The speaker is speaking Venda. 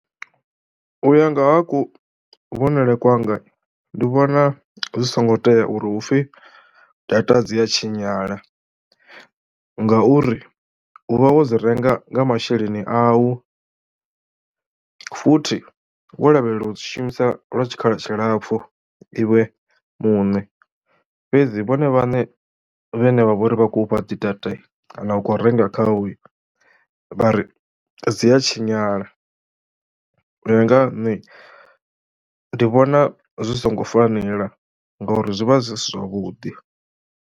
U ya nga ha kuvhonele kwanga ndi vhona zwi songo tea uri hupfhi data dzi ya tshinyala ngauri u vha wo dzi renga nga masheleni au futhi wo lavhelela u dzi shumisa lwa tshikhala tshilapfu iwe muṋe, fhedzi vhone vhaṋe vhane vha vha uri vha khou fha dzi data kana u khou renga khao vha ri dzi a tshinyala. U ya nga ha nṋe ndi vhona zwi songo fanela ngauri zwi vha zwi si zwavhuḓi.